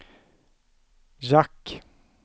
jack